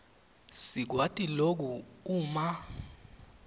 sikwati loku uma